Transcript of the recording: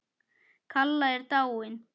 Kalla er dáin.